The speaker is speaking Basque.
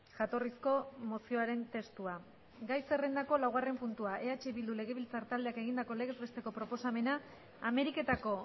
jatorrizko mozioaren testua gai zerrendako laugarren puntua eh bildu legebiltzar taldeak egindako legez besteko proposamena ameriketako